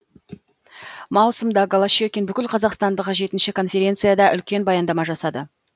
маусымда голощекин бүкілқазақстандық жетінші конференцияда үлкен баяндама жасады